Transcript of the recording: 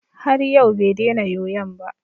Har yau bai dena yoyon ba.